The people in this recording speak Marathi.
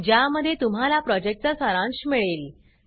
ज्यामध्ये तुम्हाला प्रॉजेक्टचा सारांश मिळेल